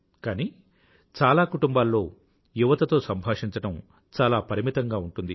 కానీ చాలా కుటుంబాల్లో యువతతో సంభాషించడం చాలా పరిమితంగా ఉంటుంది